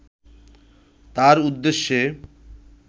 তার উদ্দেশ্যে